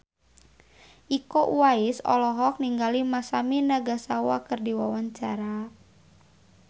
Iko Uwais olohok ningali Masami Nagasawa keur diwawancara